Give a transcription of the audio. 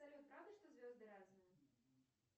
салют правда что звезды разные